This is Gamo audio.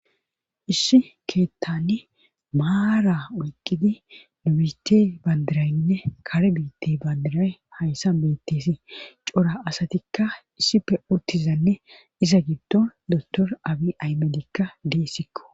issi keettani maara oyqqidi nubiti bandirayynne kare biitti bandiray hayssan beetteesi cora asatikka issife urtizanne iza giddo dotor abi aymedikka deessikko